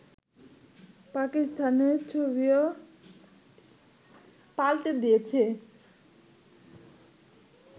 পাকিস্তানের ছবিও পাল্টে দিয়েছে